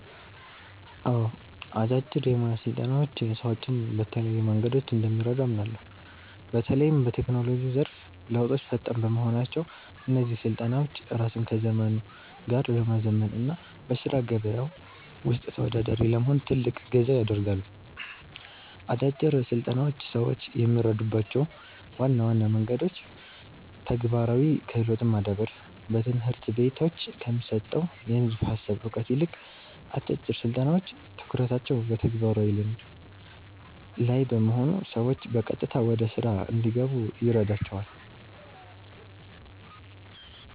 አዎ፣ አጫጭር የሞያ ስልጠናዎች ሰዎችን በተለያዩ መንገዶች እንደሚረዱ አምናለሁ። በተለይም በቴክኖሎጂው ዘርፍ ለውጦች ፈጣን በመሆናቸው፣ እነዚህ ስልጠናዎች ራስን ከዘመኑ ጋር ለማዘመን እና በሥራ ገበያው ውስጥ ተወዳዳሪ ለመሆን ትልቅ እገዛ ያደርጋሉ። አጫጭር ስልጠናዎች ሰዎችን የሚረዱባቸው ዋና ዋና መንገዶች ተግባራዊ ክህሎትን ማዳበር፦ በትምህርት ቤቶች ከሚሰጠው የንድፈ ሃሳብ እውቀት ይልቅ፣ አጫጭር ስልጠናዎች ትኩረታቸው በተግባራዊ ልምድ (Practical Skill) ላይ በመሆኑ ሰዎች በቀጥታ ወደ ሥራ እንዲገቡ ይረዳቸዋል።